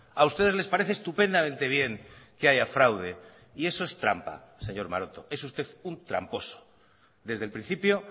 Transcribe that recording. a ustedes les parece estupendamente bien que haya fraude y eso es trampa señor maroto es usted un tramposo desde el principio